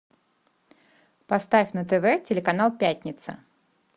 поставь на тв телеканал пятница